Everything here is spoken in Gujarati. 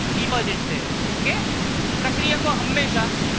નીપજ છે okay પ્રક્રિયકો હમેશા